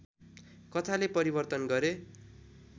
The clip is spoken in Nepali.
कथाले परिवर्तन गरे